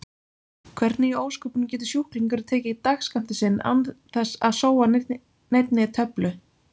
Hvernig í ósköpunum getur sjúklingurinn tekið dagsskammtinn sinn án þess að sóa neinni töflu?